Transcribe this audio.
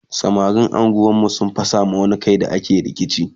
samarin unguwar mu sun fasa ma wani Kai da ake rikici